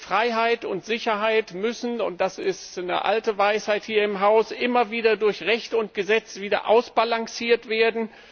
Freiheit und Sicherheit müssen das ist eine alte Weisheit hier im Hause immer wieder durch Recht und Gesetz ausbalanciert werden.